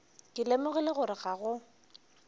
ke lemogile gore ga go